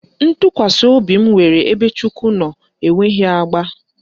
Ntụkwasị obi m nwere ebe Chukwu nọ enweghị agba